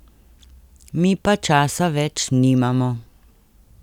Mi pa časa več nimamo.